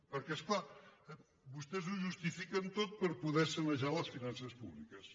perquè és clar vostès ho justifiquen tot per poder sa·nejar les finances públiques